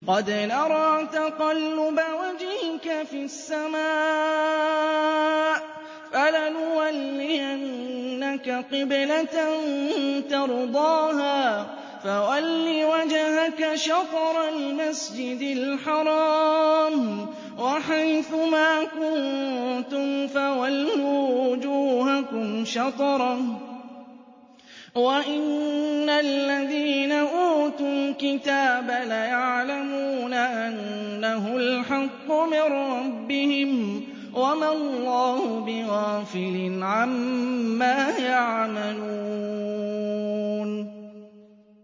قَدْ نَرَىٰ تَقَلُّبَ وَجْهِكَ فِي السَّمَاءِ ۖ فَلَنُوَلِّيَنَّكَ قِبْلَةً تَرْضَاهَا ۚ فَوَلِّ وَجْهَكَ شَطْرَ الْمَسْجِدِ الْحَرَامِ ۚ وَحَيْثُ مَا كُنتُمْ فَوَلُّوا وُجُوهَكُمْ شَطْرَهُ ۗ وَإِنَّ الَّذِينَ أُوتُوا الْكِتَابَ لَيَعْلَمُونَ أَنَّهُ الْحَقُّ مِن رَّبِّهِمْ ۗ وَمَا اللَّهُ بِغَافِلٍ عَمَّا يَعْمَلُونَ